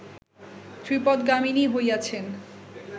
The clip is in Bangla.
ত্রিপথগামিনী হইয়াছেন